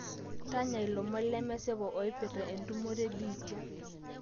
tanya ilomon lemesipa ooipirta entumoto ebiitia